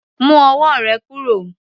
Mu ọwọ́ rè kúrò.